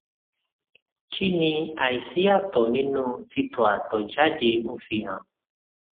kí ni aisi atọ ninu titọ atọ jáde ń fi hàn